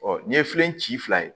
n'i ye fɛn ci fila ye